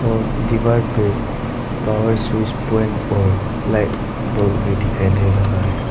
और दीवार पे पावर स्विच पॉइंट और लाइट बल्ब भी दिखाई दे रहा है।